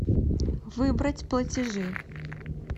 выбрать платежи